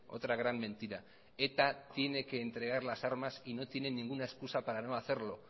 otra gran mentira eta tiene que entregar las armas y no tiene ninguna excusa para no hacerlo